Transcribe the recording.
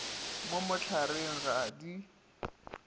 mo mohlareng ga a di